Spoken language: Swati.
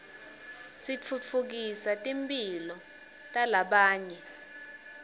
titfutfukisa timphilo talabanye